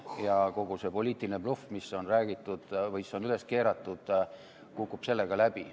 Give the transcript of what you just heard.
Ja kogu see poliitiline bluff, mis on üles keeratud, kukub sellega läbi.